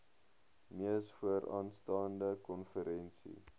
mees vooraanstaande konferensie